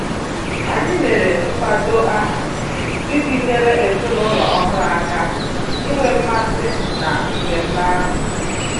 Anyị mere mkpado aha iji nyere ezinụlọ ọhụrụ aka inwe mmasị na mmemme ahụ